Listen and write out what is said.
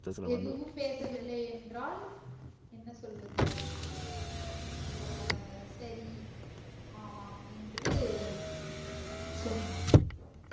எதுவும் பேசவில்லை என்றால் என்ன சொல்வது ஆஹ் சரி ஆமாம் என்று சொன்னேன்